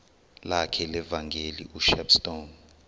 lakhe levangeli ushepstone